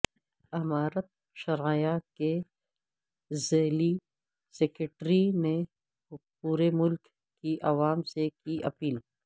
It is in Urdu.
امارت شرعیہ کے ضلعی سکریٹری نے پورے ملک کی عوام سے کی اپیل